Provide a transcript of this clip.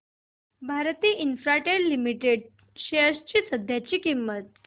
Bharti Infratel limited shares ची सध्याची किंमत